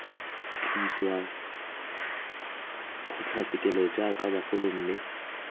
tliswa kgotlatshekelo jaaka bagolo mme